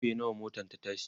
karfe nawa motan ta tashi?